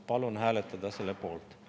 Palun hääletada selle poolt.